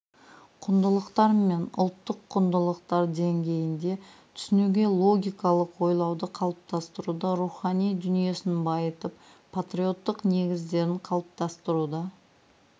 құндылықтар мен ұлттық құндылықтар деңгейінде түсінуге логикалық ойлауды қалыптастыруда рухани дүниесін байытып патриоттық негіздерін қалыптастыруда